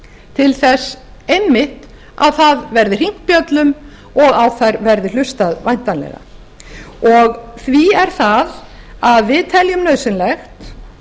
til þess einmitt að það verði hringt bjöllum og á þær verði hlustað væntanlega því er það að við teljum nauðsynlegt